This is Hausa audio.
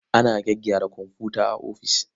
Ana gyaggyara komfuta a ofis.